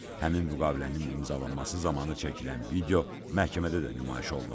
Həmin müqavilənin imzalanması zamanı çəkilən video məhkəmədə də nümayiş olunub.